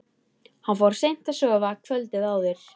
Hann fór seint að sofa kvöldið áður.